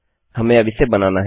हमें अब इसे बनाना है